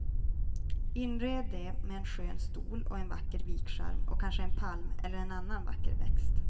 Inred det med en skön stol och en vacker vikskärm och kanske en palm eller en annan vacker växt.